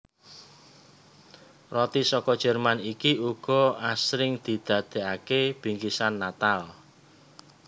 Roti saka Jerman iki uga asring didadèkaké bingkisan Natal